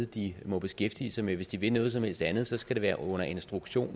de må beskæftige sig med hvis de vil noget som helst andet skal det være under instruktion